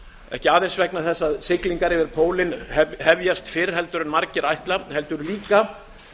ekki aðeins vegna þess að siglingar um pólinn hefjast fyrr en margir ætla heldur líka